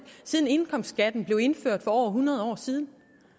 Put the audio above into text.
siden indkomstskatten blev indført for over hundrede år siden